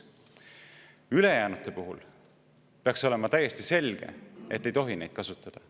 Ülejäänute puhul peaks olema täiesti selge, et ei tohi neid kasutada.